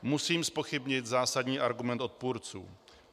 Musím zpochybnit zásadní argument odpůrců.